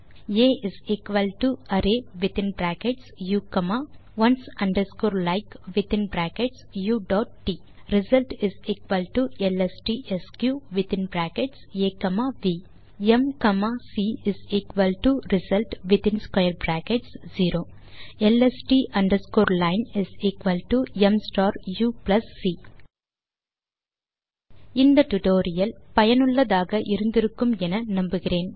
ஆ array within brackets u comma ones underscore like within brackets uட் result எல்எஸ்டிஎஸ்க் within brackets a comma v um comma c result within square brackets 0 ல்ஸ்ட் underscore line um star u plus c tutorial சுவாரசியமாகவும் பயனுள்ளதாகவும் இருந்திருக்கும் என நம்புகிறேன்